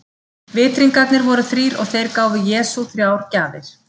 Vitringarnir voru þrír og þeir gáfu Jesú þrjár gjafir.